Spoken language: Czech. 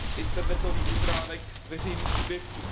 internetových stránek veřejných subjektů.